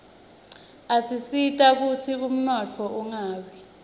asisita kutsi umnotfo ungawi